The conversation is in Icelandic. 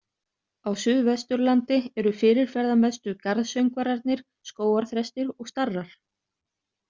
Á Suðvesturlandi eru fyrirferðamestu garðsöngvararnir skógarþrestir og starrar.